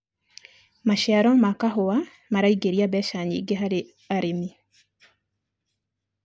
maciaro ma kahũa maraingiria mbeca nyingi harĩ arĩmi